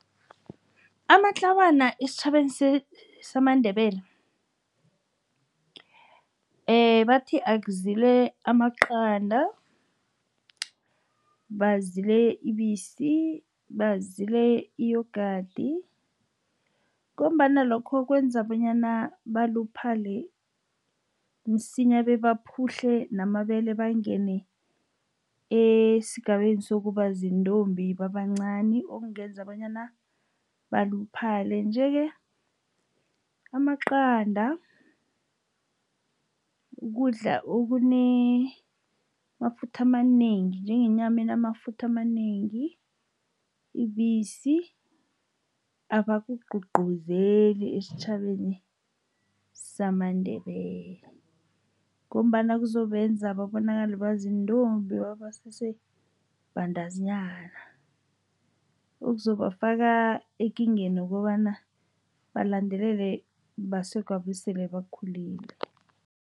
Amatlawana esitjhabeni samaNdebele bathi azile amaqanda, bazile ibisi, bazile i-yogurt, ngombana lokho kwenza bonyana baluphale msinya, bebaphuhle namabele bangene esigabeni sokuba ziintombi babancani, okungenza bonyana baluphale. Nje-ke, amaqanda kukudla amafutha amanengi, njengenyama enamafutha amanengi, ibisi, abakugqugquzeli esitjhabeni samaNdebele. Ngombana kuzobenza babonakale baziintombi basese bantazinyana. Okuzobafaka ekingeni yokobana balandelelwe baswegwabo esele bakhulile.